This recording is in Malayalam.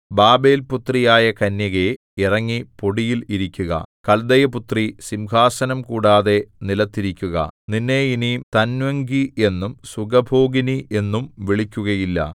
ബാബേൽപുത്രിയായ കന്യകേ ഇറങ്ങി പൊടിയിൽ ഇരിക്കുക കൽദയപുത്രീ സിംഹാസനം കൂടാതെ നിലത്തിരിക്കുക നിന്നെ ഇനി തന്വംഗി എന്നും സുഖഭോഗിനി എന്നും വിളിക്കുകയില്ല